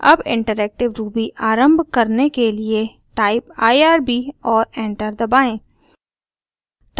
अब interactive ruby आरम्भ करने के लिए टाइप irb और एंटर दबाएँ